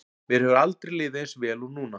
Mér hefur aldrei liðið eins vel og núna.